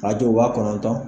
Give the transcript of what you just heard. Rajo wa kɔnɔntɔn.